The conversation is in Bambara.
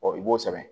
i b'o sɛbɛn